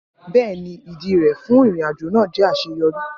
Bẹẹni, idi rẹ fun irin-ajo naa jẹ aṣeyọri.